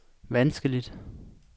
vanskeligt